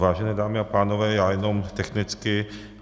Vážené dámy a pánové, já jenom technicky.